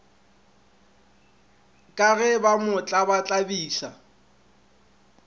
ka ge ba mo tlabatlabiša